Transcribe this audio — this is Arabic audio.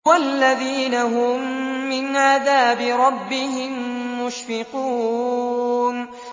وَالَّذِينَ هُم مِّنْ عَذَابِ رَبِّهِم مُّشْفِقُونَ